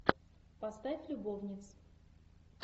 поставь любовниц